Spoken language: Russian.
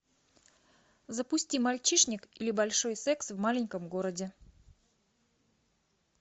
запусти мальчишник или большой секс в маленьком городе